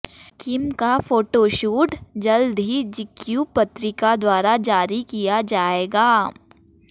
किम का फोटोशूट जल्द ही जीक्यू पत्रिका द्वारा जारी किया जाएगा